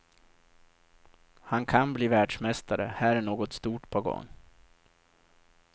Han kan bli världsmästare, här är något stort på gång.